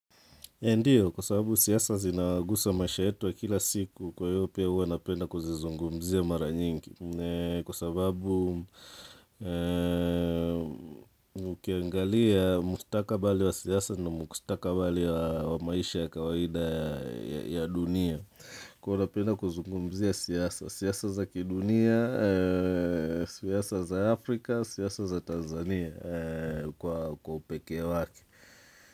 Ndiyo, kwa sababu siasa zinaguza maisha yetu ya kila siku, kwa hiyo pia huwa napenda kuzizungumzia mara nyingi, kwa sababu ukiangalia mkustakabali wa siasa na mkustakabali wa maisha ya kawaida ya dunia. Kuwa napenda kuzungumzia siasa, siasa za kidunia, siasa za Afrika, siasa za Tanzania kwa upekee wake.